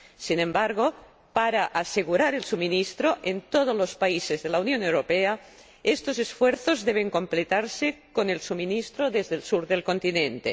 Sin embargo, para asegurar el suministro en todos los países de la Unión Europea, estos esfuerzos deben completarse con el suministro desde el sur del continente.